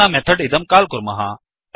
अधुना मेथड् इदं काल् कुर्मः